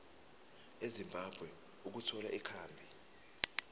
ezimbabwe ukuthola ikhambi